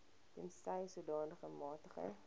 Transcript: tensy sodanige magtiging